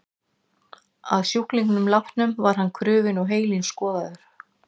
Að sjúklingnum látnum var hann krufinn og heilinn skoðaður.